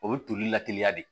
O bɛ toli la teliya de